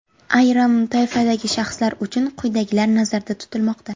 Ayrim toifadagi shaxslar uchun quyidagilar nazarda tutilmoqda.